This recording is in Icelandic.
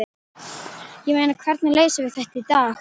Ég meina, hvernig leysum við þetta í dag?